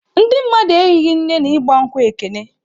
Ndị mmadụ ehighị nne na ịgba nkwụ Ekene.